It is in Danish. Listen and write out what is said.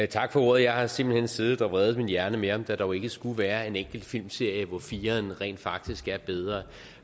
tak for ordet jeg har simpelt hen siddet og vredet min hjerne med om der dog ikke skulle være en enkelt filmserie hvor fire rent faktisk er bedre